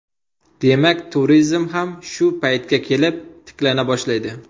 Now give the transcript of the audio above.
Demak, turizm ham shu paytga kelib tiklana boshlaydi.